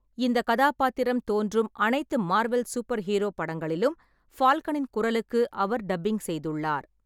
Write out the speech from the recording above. இந்த கதாபாத்திரம் தோன்றும் அனைத்து மார்வெல் சூப்பர் ஹீரோ படங்களிலும் ஃபால்கனின் குரலுக்கு அவர் டப்பிங் செய்துள்ளார்.